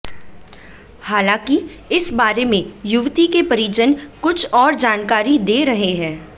हालांकि इस बारे में युवती के परिजन कुछ और जानकारी दे रहे हैं